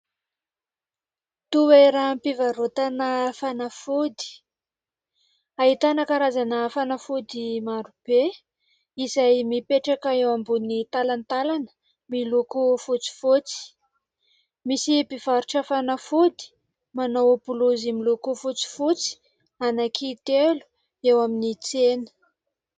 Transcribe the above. Toeram-pivarotana fanafody, ahitana karazana fanafody marobe izay mipetraka eo ambony talantalana miloko fotsifotsy. Misy mpivarotra fanafody manao bolozy miloko fotsifotsy anankitelo eo amin'ny tsena.